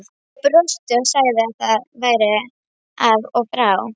Ég brosti og sagði að það væri af og frá.